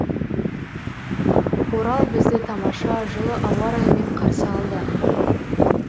орал бізді тамаша жылы ауа райымен қарсы алды